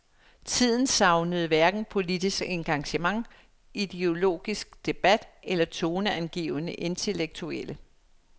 Tiden savnede hverken politisk engagement, ideologisk debat eller toneangivende intellektuelle.